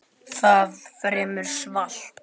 Það er fremur svalt.